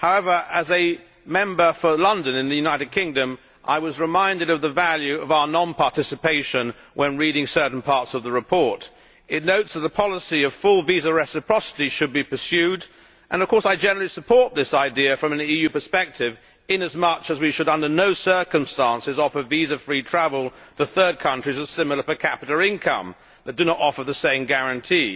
However, as a Member for London in the United Kingdom, I was reminded of the value of our non participation when reading certain parts of the report. It notes that a policy of full visa reciprocity should be pursued and, of course, I generally support this idea from an EU perspective, in as much as we should under no circumstances offer visa free travel to third countries of similar per capita income that do not offer the same guarantee.